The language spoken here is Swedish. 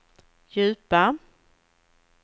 djupa